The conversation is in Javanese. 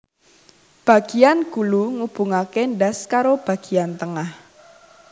Bagiyan gulu ngubungake ndas karo bagiyan tengah